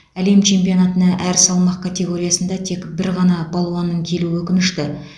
әлем чемпионатына әр салмақ категориясында тек бір ғана балуанның келуі өкінішті